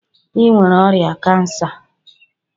Ị nwere ọrịa cancer!